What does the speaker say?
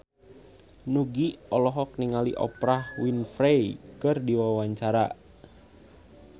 Nugie olohok ningali Oprah Winfrey keur diwawancara